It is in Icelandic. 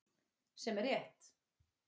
Sem er rétt.